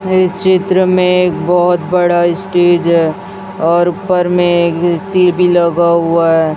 इस चित्र में एक बहोत बड़ा स्टेज है और ऊपर में ए_सी भी लगा हुआ है।